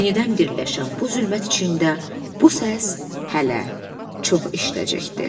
Yenidən birləşən bu zülmət içində bu səs hələ çox eşidəcəkdi.